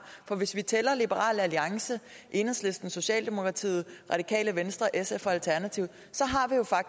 for hvis vi tæller liberal alliance enhedslisten socialdemokratiet radikale venstre sf og alternativet